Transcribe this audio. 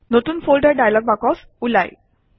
নতুন folder dialog box ওলায়